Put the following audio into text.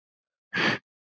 ALLIR: Já!